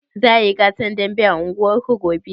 Za a yi gasar dambe a unguwarku gobe?